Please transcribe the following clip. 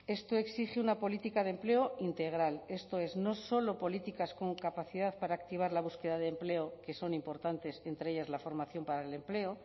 esto exige una política de empleo integral esto es no solo políticas con capacidad para activar la búsqueda de empleo que son importantes entre ellas la formación para el empleo